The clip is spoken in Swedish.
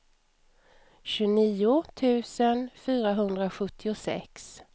tjugonio tusen fyrahundrasjuttiosex